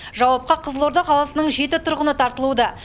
жауапқа қызылорда қаласының жеті тұрғыны тартылуда